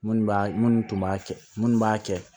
Minnu b'a minnu tun b'a kɛ minnu b'a kɛ